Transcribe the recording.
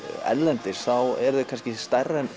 erlendis eru þið stærri en